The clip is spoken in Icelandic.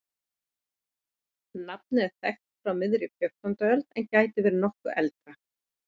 Nafnið er þekkt frá miðri fjórtándu öld en gæti verið nokkru eldra.